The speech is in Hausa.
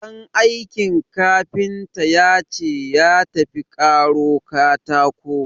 Ɗan aikin kafinta ya ce ya tafi karo katako.